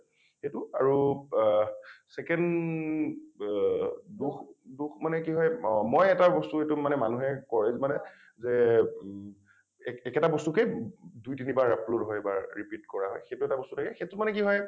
সেইটো আৰু আ second দোষ দোষ মানে কি হয় অ মই এটা বস্তু এইটো মানে মানুহে কয় মানে যে এ এক একেটা বস্তুকেই দুই তিনিবাৰ upload হয় বা repeat কৰা হয় সেইটো এটা বস্তু থাকে সেইটো মানে কি হয়